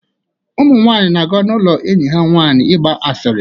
Ụmụ nwanyị na-aga n'ụlọ enyi ha ịgba asịrị